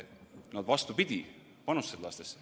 Nad, vastupidi, panustasid lastesse.